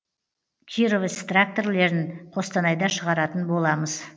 кировец тракторлерін қостанайда шығаратын боламыз